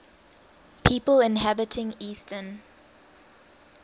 people inhabiting eastern